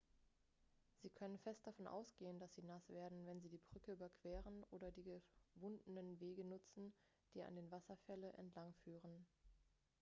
sie können fest davon ausgehen dass sie nass werden wenn sie die brücke überqueren oder die gewundenen wege nutzen die an den wasserfälle entlangführen